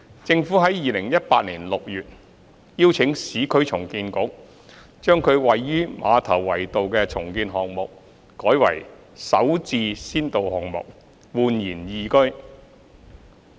政府在2018年6月邀請市區重建局將其位於馬頭圍道的重建項目改為首置先導項目煥然懿居。